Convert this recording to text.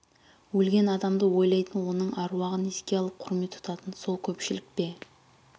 әлген адамды ойлайтын оның әруағын еске алып құрмет тұтатын сол көпшілік пе